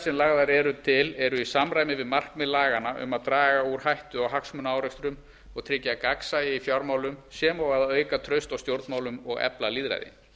sem lagðar eru til eru í samræmi við markmið laganna um að draga úr hættu á hagsmunaárekstrum og tryggja gagnsæi í fjármálum sem og að auka traust á stjórnmálum og efla lýðræði